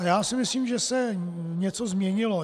A já si myslím, že se něco změnilo.